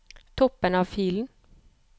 Toppen av filen